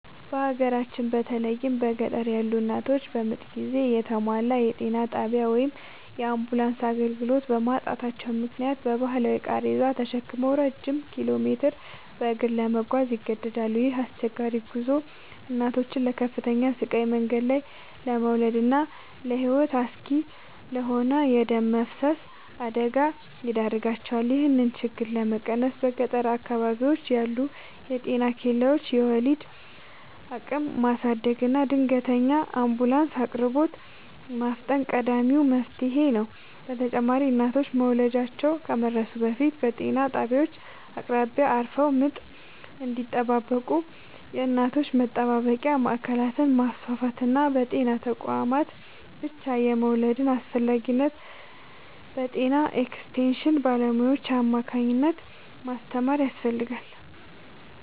በሀገራችን በተለይም በገጠር ያሉ እናቶች በምጥ ጊዜ የተሟላ የጤና ጣቢያ ወይም የአምቡላንስ አገልግሎት በማጣታቸው ምክንያት በባህላዊ ቃሬዛ ተሸክመው ረጅም ኪሎሜትሮችን በእግር ለመጓዝ ይገደዳሉ። ይህ አስቸጋሪ ጉዞ እናቶችን ለከፍተኛ ስቃይ፣ መንገድ ላይ ለመውለድና ለሕይወት አስጊ ለሆነ የደም መፍሰስ አደጋ ይዳርጋቸዋል። ይህንን ችግር ለመቀነስ በገጠር አካባቢዎች ያሉ የጤና ኬላዎችን የወሊድ አቅም ማሳደግና የድንገተኛ አምቡላንስ አቅርቦትን ማፋጠን ቀዳሚው መፍትሔ ነው። በተጨማሪም እናቶች መውለጃቸው ከመድረሱ በፊት በጤና ጣቢያዎች አቅራቢያ አርፈው ምጥ እንዲጠባበቁ የእናቶች መጠባበቂያ ማዕከላትን ማስፋፋትና በጤና ተቋማት ብቻ የመውለድን አስፈላጊነት በጤና ኤክስቴንሽን ባለሙያዎች አማካኝነት ማስተማር ያስፈልጋል።